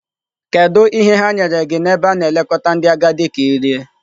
Kedu ihe ha nyere gị n'ebe a na-elekọta ndị agadi ka ị rie?